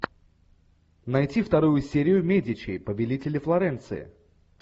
найти вторую серию медичи повелители флоренции